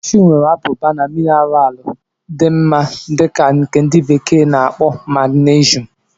Kashu nwere abụba na mineralu dị mma dị ka nke ndi bekee na-akpo magnesium.